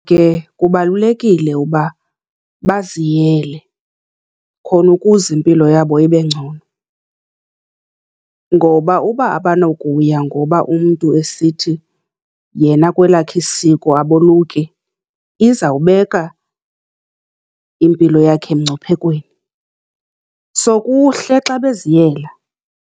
Ke kubalulekile uba baziyele, khona ukuze impilo yabo ibe ngcono. Ngoba uba abanokuya ngoba umntu esithi yena kwelakhe isiko aboluki, izawubeka impilo yakhe emngciphekweni. So, kuhle xa beziyela.